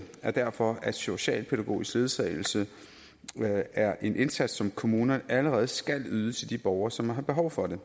er derfor at socialpædagogisk ledsagelse er en indsats som kommunerne allerede skal yde til de borgere som har behov for det